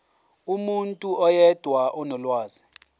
umuntu oyedwa onolwazi